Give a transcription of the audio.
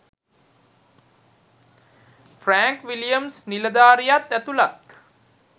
Frank Williams නිලධාරියාත් ඇතුලත්.